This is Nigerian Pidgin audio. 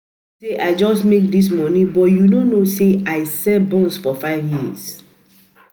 You think say I just make dis money but you no know say I sell buns for five years